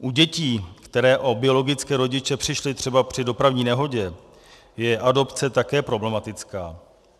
U dětí, které o biologické rodiče přišly třeba při dopravní nehodě, je adopce také problematická.